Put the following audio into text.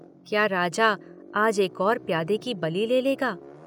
क्या राजा आज एक और प्यादे की बलि ले लेगा –?